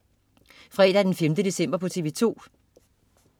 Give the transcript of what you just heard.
Fredag den 5. december - TV2: